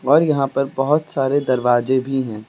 और यहां पर बहोत सारे दरवाजे भी हैं।